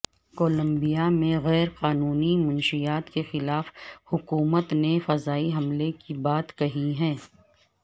Colombia میں غیرقانونی منشیات کے خلاف حکومت نے فضائی حملے کی بات کہی ہے